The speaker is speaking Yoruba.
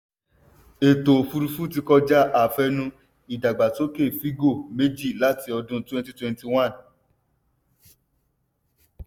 ètò òfùrúfú ti kọjá àfẹnu: ìdàgbásókè fígọ̀-méjì láti ọdún 2021.